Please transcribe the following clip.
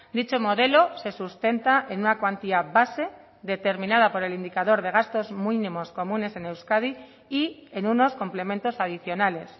dicho modelo se sustenta en una cuantía base determinada por el indicador de gastos mínimos comunes en euskadi y en unos complementos adicionales